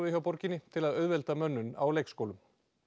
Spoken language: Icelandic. hjá borginni til að auðvelda mönnun á leikskólum